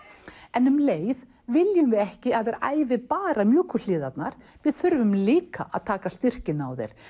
en um leið viljum við ekki að þær æfi bara mjúku hliðarnar við þurfum líka að taka styrkinn á þær